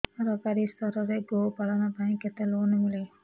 ସରକାରୀ ସ୍ତରରେ ଗୋ ପାଳନ ପାଇଁ କେତେ ଲୋନ୍ ମିଳେ